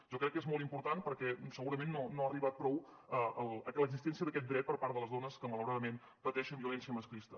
jo crec que és molt important perquè segurament no ha arribat prou l’existència d’aquest dret per part de les dones que malauradament pateixen violència masclista